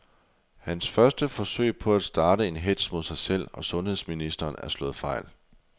Hans første forsøg på at starte en hetz mod sig selv og sundheds ministeren er slået fejl.